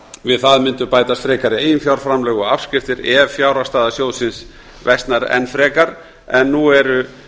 við það mundu bætast frekari eiginfjárframlög og afskriftir ef fjárhagsstaða sjóðsins versnar enn frekar en nú eru